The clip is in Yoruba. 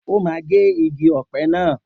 O máa gé igi ọ̀pẹ naa.